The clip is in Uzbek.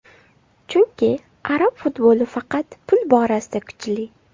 Chunki arab futboli faqat pul borasida kuchli.